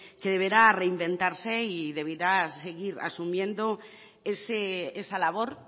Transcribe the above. que deberá reinventarse y deberá seguir asumiendo esa labor